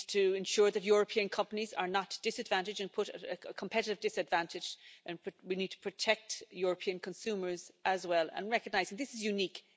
We need to ensure that European companies are not disadvantaged and put at a competitive disadvantage and we need to protect European consumers as well and recognise that this is unique